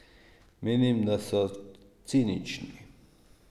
Menim, da so cinični.